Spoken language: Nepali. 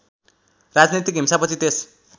राजनैतिक हिंसापछि त्यस